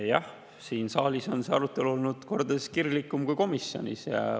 Jah, siin saalis on see arutelu olnud kordades kirglikum kui komisjonis.